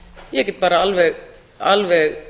ég get bara alveg